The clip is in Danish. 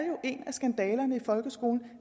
en af skandalerne i folkeskolen